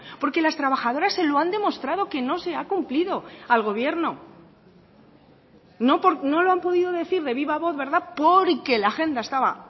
porque las trabajadoras se lo han demostrado que no se ha cumplido al gobierno no lo han podido decir de viva voz verdad porque la agenda estaba